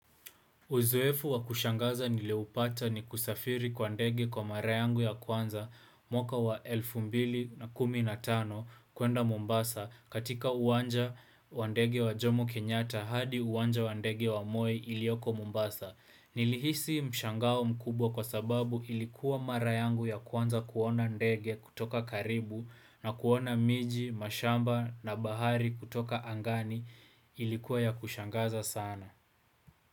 Uzoefu wa kushangaza nilioupata ni kusafiri kwa ndege kwa mara yangu ya kwanza mwaka wa 2015 kuenda Mombasa katika uwanja wa ndege wa Jomo Kenyatta hadi uwanja wa ndege wa Moi ilioko Mombasa. Nilihisi mshangao mkubwa kwa sababu ilikuwa mara yangu ya kwanza kuona ndege kutoka karibu na kuona miji, mashamba na bahari kutoka angani ilikuwa ya kushangaza sana.